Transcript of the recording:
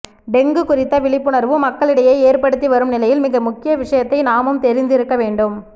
dengue குறித்த விழிப்புணர்வு மக்களிடையே ஏற்படுத்தி வரும் நிலையில் மிக முக்கிய விஷயத்தை நாமும் தெரிந்திருக்க வேண்டும்